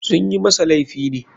Sunyi masa laifi ne.